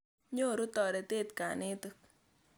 Nyoru toretet kanetik.